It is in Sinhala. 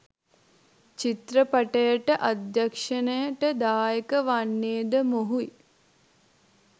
චිත්‍රපටයට අධ්‍යක්ශණයට දායක වන්නේද මොහුයි.